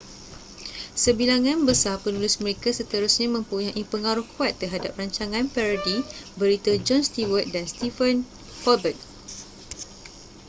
sebilangan besar penulis mereka seterusnya mempunyai pengaruh kuat terhadap rancangan parodi berita jon stewart dan stephen colbert